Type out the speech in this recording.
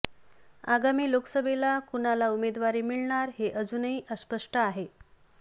आगामी लोकसभेला कुणाला उमेदवारी मिळणार हे अजूनही अस्पष्ट आहे